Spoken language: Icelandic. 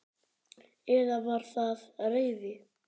Eða var það reiði?